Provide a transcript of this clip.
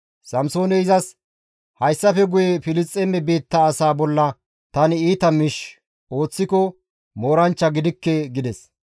Samsooney izas, «Hayssafe guye Filisxeeme biitta asaa bolla tani iita miish ooththiko mooranchcha gidikke» gides.